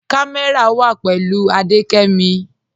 Kàmẹ́rà wà pẹ̀lú Adékẹ́mí